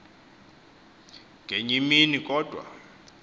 ngeny imini kodwa